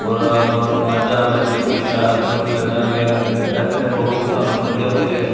ਔਰ ਮਾਜ਼ਾ ਮਿਲਜੁਗੀ ਚਾਹਰ ਚੁਹਰ ਮਿਲ ਜਾਣਗੇ ਏੱਥੇ ਹੋਰ ਵੀ ਤੁਹਾਨੂੰ ਵਧੀਆ ਵਧੀਆ--